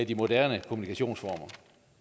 de moderne kommunikationsformer